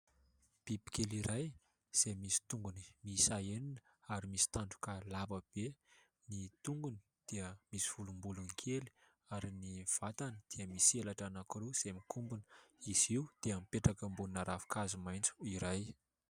Bibikely iray, izay misy tongony miisa enina ary misy tandroka lava be. Ny tongony dia misy volombolony kely ary ny vatany dia misy elatra anankiroa izay mikombona. Izy io dia mipetraka ambonina ravinkazo maitso iray.